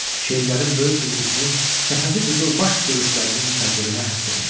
Şeirlərin böyük bir qismi Səfəvi qızılbaş görüşlərinin təbliğinə həsr olunub.